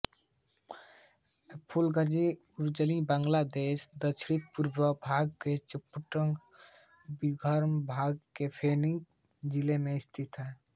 फूलग़ाज़ी उपज़िला बांग्लादेश के दक्षिणपूर्वी भाग में चट्टग्राम विभाग के फेनी जिले में स्थित है